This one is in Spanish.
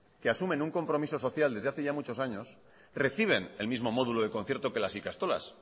que asumen un compromiso social desde hace ya muchos años reciben el mismo módulo de concierto que las ikastolas